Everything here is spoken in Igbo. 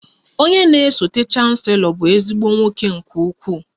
Onye na-esote chancelo bụ ezigbo nwoke nke ukwuu